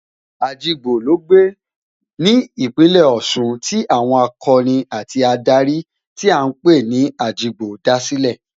Ajigbo ló gbé, ìlú ní Ìpínlẹ̀ Ọ̀ṣun tí àwọn akọni àti adarí tí à ń pè ní Ajigbo dá sílẹ̀